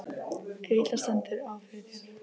ef illa stendur á fyrir þér.